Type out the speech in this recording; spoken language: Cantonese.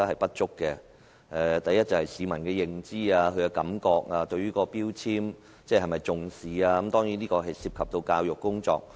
第一個問題關乎市民的認知，以及他們對能源標籤是否重視。這當然涉及教育工作。